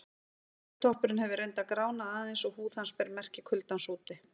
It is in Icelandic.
Hökutoppurinn hefur reyndar gránað aðeins og húð hans ber merki kuldans úti.